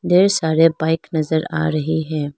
ढेर सारे बाइक नजर आ रही है।